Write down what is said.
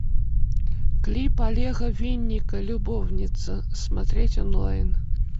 клип олега винника любовница смотреть онлайн